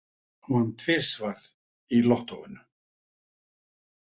Vann tvisvar í lottóinu